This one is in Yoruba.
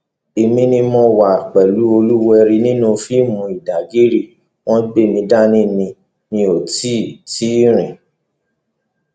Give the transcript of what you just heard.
èmi ni mo wà pẹlú olúwẹrí nínú fíìmù ìdàgìrì wọn gbé mi dání ni mi ò tì tì í rìn